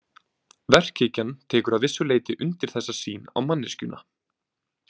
Verkhyggjan tekur að vissu leyti undir þessa sýn á manneskjuna.